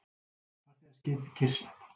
Farþegaskip kyrrsett